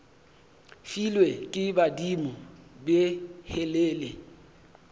filwe ke badimo be helele